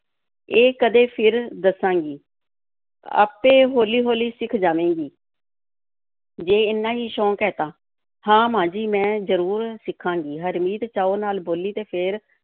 ਇਹ ਕਦੇ ਫਿਰ ਦੱਸਾਂਗੀ, ਆਪੇ ਹੌਲੀ-ਹੌਲੀ ਸਿੱਖ ਜਾਵੇਂਗੀ ਜੇ ਏਨਾ ਹੀ ਸ਼ੌਕ ਹੈ ਤਾਂ, ਹਾਂ, ਮਾਂ ਜੀ, ਮੈਂ ਜ਼ਰੂਰ ਸਿੱਖਾਂਗੀ, ਹਰਮੀਤ ਚਾਅ ਨਾਲ ਬੋਲੀ ਅਤੇ ਫਿਰ